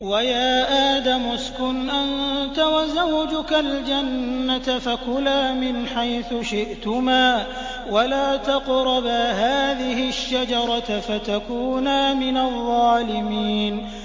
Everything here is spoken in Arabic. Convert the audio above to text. وَيَا آدَمُ اسْكُنْ أَنتَ وَزَوْجُكَ الْجَنَّةَ فَكُلَا مِنْ حَيْثُ شِئْتُمَا وَلَا تَقْرَبَا هَٰذِهِ الشَّجَرَةَ فَتَكُونَا مِنَ الظَّالِمِينَ